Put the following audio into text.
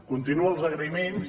continuo els agraïments